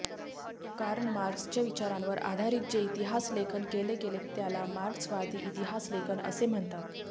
Carl मार्क्सच्या विचारांवर आधारित जे इतिहासलेखन केले गेले त्याला मार्क्सवादी इतिहासलेखन असे म्हणतात